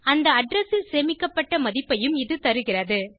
அந்த அட்ரெஸ் ல் சேமிக்கப்பட்ட மதிப்பையும் இது தருகிறது